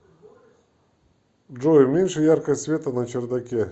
джой уменьши яркость света на чердаке